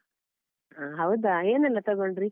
ಹಾ, ಹೌದಾ ಏನೆಲ್ಲಾ ತಗೊಂಡ್ರಿ?